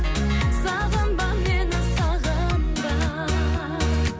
сағынба мені сағынба